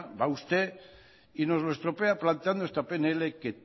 va usted y nos lo estropea planteando esta pnl que